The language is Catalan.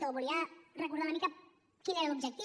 o volia recordar una mica quin era l’objectiu